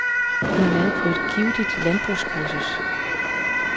Hun har været på et givtigt landbrugskursus.